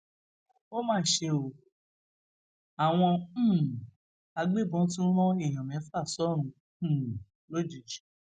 ó mà ṣe o àwọn um agbébọn tún ran èèyàn mẹfà sọrùn um òjijì